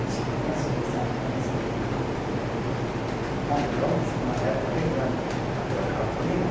Acho que começo desse ano também escrevi lá no ponto de ônibus com uma letra bem grande com papel cartolina.